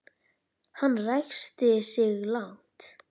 Hann ræskti sig lágt.